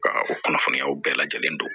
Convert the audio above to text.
Ka o kunnafoniyaw bɛɛ lajɛlen don